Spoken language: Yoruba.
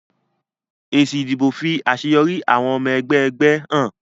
Èsì ìdìbò fi àṣeyọrí àwọn ọmọ ẹgbẹ́ ẹgbẹ́ hàn.